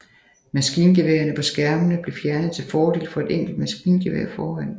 Maskingeværerne på skærmene blev fjernet til fordel for et enkelt maskingevær foran